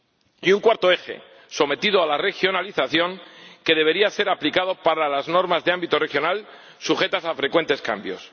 y un cuarto eje, sometido a la regionalización, debería ser aplicado para las normas de ámbito regional sujetas a frecuentes cambios.